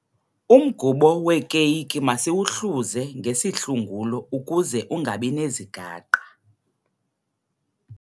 Umgubo weekeyiki masiwuhluze ngesihlungulo ukuze ungabi nezigaqa.